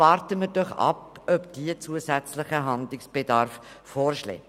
Warten wir doch ab, ob diese einen zusätzlichen Handlungsbedarf vorschlägt.